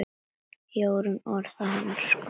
Jórunn orðin hans kona.